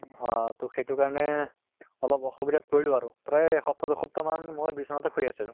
হা তʼ সেইটো কাৰণে অলপ অসুবিধাত পৰিলো আৰু প্ৰায় এসপ্তাহ দুসপ্তাহ মান মই বিছনাতে শুই আছো।